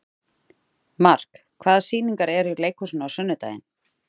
Mark, hvaða sýningar eru í leikhúsinu á sunnudaginn?